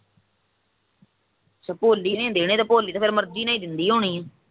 ਅੱਛਾ ਭੋਲੀ ਨੇ ਹੀ ਦੇਣੇ ਪੈਸੇ ਫਿਰ ਤਾਂ ਭੋਲੀ ਮਰਜੀ ਨਾਲ ਹੀ ਦਿੰਦੀ ਹੋਣੀ ਐ